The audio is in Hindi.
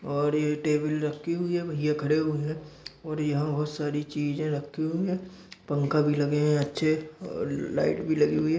और ये टेबल रखी हुई हैं भईया खड़े हुए हैं और यहाँ बहुत सारी चीजे रखी हुई हैं पंखा भी लगे हैं अच्छे और ल लाइट भी लगी हुई हैं।